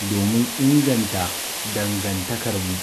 domin inganta dangantakarmu.